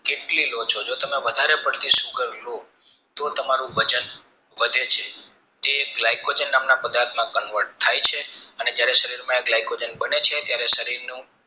કેટલી લો છો જો તમે વધારે પડતી sugar લો તો તમારું વજન વધે છે એ blycoj નામના પદાર્થમાં convert થાય છે અને શરીરમાં glycogen બને છે ત્યારે શરીર નું